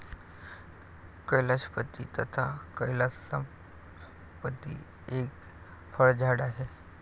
कैलाशपती तथा कैलासपती एक फळझाड आहे.